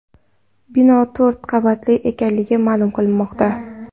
Bino to‘rt qavatli ekanligi ma’lum qilinmoqda.